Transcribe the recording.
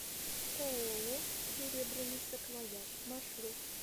ооо серебряный саквояж маршрут